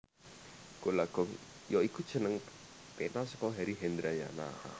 Gola Gong ya iku jeneng pena saka Heri Hendrayana